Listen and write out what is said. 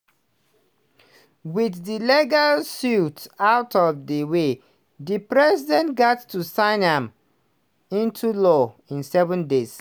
wit di legal suits out of di way di president gatz sign am into law in seven days.